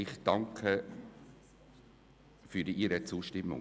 Ich danke für Ihre Zustimmung.